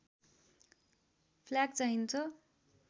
flag चाहिन्छ